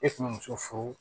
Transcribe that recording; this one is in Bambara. E kun be muso furu